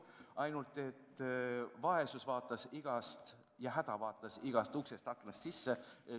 Ainult et vaesus ja häda vaatas igast uksest ja aknast sisse.